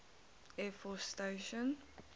air force station